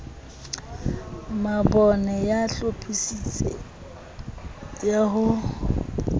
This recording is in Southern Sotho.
mabone ya bohlophisi ya ho